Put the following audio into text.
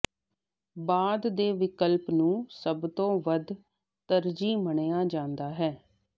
ਬਾਅਦ ਦੇ ਵਿਕਲਪ ਨੂੰ ਸਭ ਤੋਂ ਵੱਧ ਤਰਜੀਹ ਮੰਨਿਆ ਜਾਂਦਾ ਹੈ